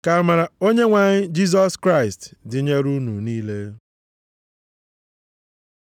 Ka amara Onyenwe anyị Jisọs Kraịst dịnyere unu niile.